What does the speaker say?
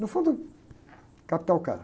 No fundo, capital caro.